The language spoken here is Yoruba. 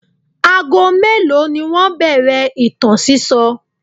Ago mélòó ni wọ́n bẹ̀rẹ̀ ìtàn sísọ?